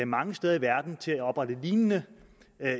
mange steder i verden til at oprette lignende